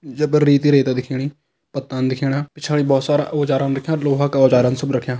ये पर रेत ही रेत दिखेणी पत्ता दिखेणा पिछाड़ी बहोत सारा औजारन रखयां लोहा का औजारन सब रख्यां।